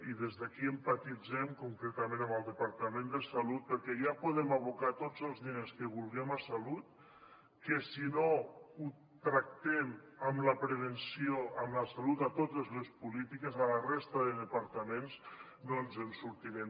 i des d’aquí empatitzem concretament amb el departament de salut perquè ja podem abocar tots els diners que vulguem a salut que si no ho tractem amb la prevenció amb la salut a totes les polítiques a la resta de departaments no ens en sortirem